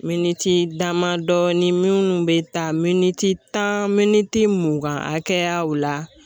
Miniti dama dɔɔnin, minnu bɛ taa miniti tan , miniti mugan hakɛyaw .